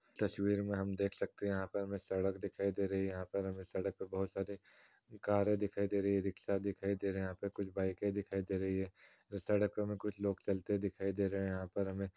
तस्वीर में हम देख सकते हैं यहाँ पे हमें सड़क दिखाई दे रही यहाँ पे हमें सड़क पे बहुत सारे कारें दिखाई दे रही है रिक्शा दिखाई दे रहे हैं कुछ बाइकें दिखाई दे रहीं हैं सड़क पर हमें कुछ लोग चलते दिखाई दे रहें है यहाँ पर हमें।